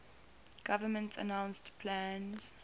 government announced plans